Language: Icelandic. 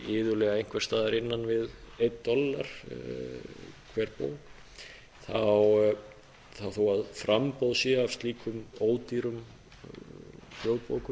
iðulega einhvers staðar innan við einn dollar hver bók þá þó að framboð sé af slíkum ódýrum hljóðbókum